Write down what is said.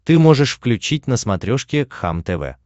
ты можешь включить на смотрешке кхлм тв